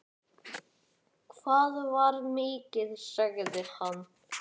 Það var mikið, sagði hann.